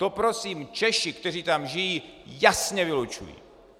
To prosím Češi, kteří tam žijí, jasně vylučují!